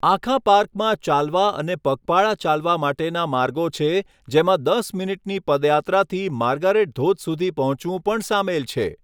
આખા પાર્કમાં ચાલવા અને પગપાળા ચાલવા માટેના માર્ગો છે, જેમાં દસ મિનિટની પદયાત્રાથી માર્ગારેટ ધોધ સુધી પહોંચવું પણ સામેલ છે.